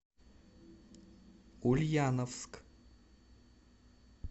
ульяновск